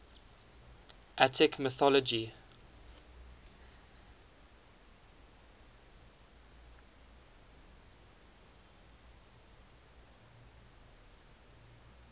attic mythology